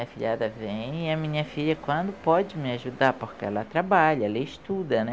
afilhada vem e a minha filha quando pode me ajudar, porque ela trabalha, ela estuda, né?